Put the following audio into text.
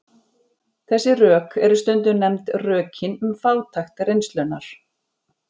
Þessi rök eru stundum nefnd rökin um fátækt reynslunnar.